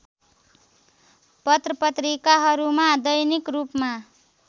पत्रपत्रिकाहरूमा दैनिक रूपमा